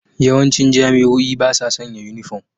Yawancin jami'o'i ba sa sanya yunifom.